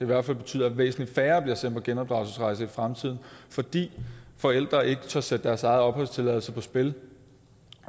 hvert fald betyde at væsentlig færre bliver sendt på genopdragelsesrejser i fremtiden fordi forældrene ikke tør sætte deres egen opholdstilladelse på spil